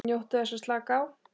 NJÓTTU ÞESS AÐ SLAKA Á